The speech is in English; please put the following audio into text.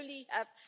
We only have